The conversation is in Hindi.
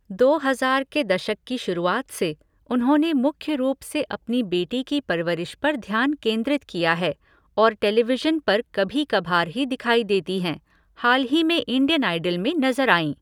दो हज़ार के दशक की शुरुआत से, उन्होंने मुख्य रूप से अपनी बेटी की परवरिश पर ध्यान केंद्रित किया है, और टेलीविशन पर कभी कभार ही दिखाई देती हैं, हाल ही में इंडियन आइडल में नज़र आईं।